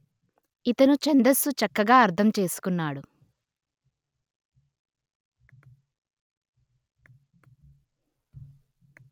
ఇతను ఛందస్సు చక్కగా అర్థం చేసుకున్నాడు